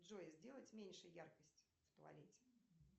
джой сделать меньше яркость в туалете